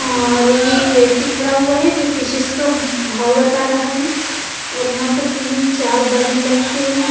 और ये एक व्यक्ती खडा हुआ हैं जो फिशीस का भाव बता राहा हैं और यहाँ पार तीन चार बल्ब लटके हुए हैं --